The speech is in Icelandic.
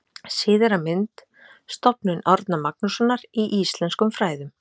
Síðari mynd: Stofnun Árna Magnússonar í íslenskum fræðum.